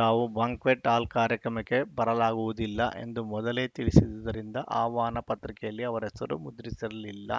ತಾವು ಬಾಂಕ್ವೆಟ್‌ ಹಾಲ್‌ ಕಾರ್ಯಕ್ರಮಕ್ಕೆ ಬರಲಾಗುವುದಿಲ್ಲ ಎಂದು ಮೊದಲೇ ತಿಳಿಸಿದ್ದರಿಂದ ಆಹ್ವಾನ ಪತ್ರಿಕೆಯಲ್ಲಿ ಅವರ ಹೆಸರು ಮುದ್ರಿಸಿರಲಿಲ್ಲ